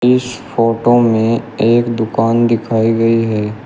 इस फोटो में एक दुकान दिखाई गई है।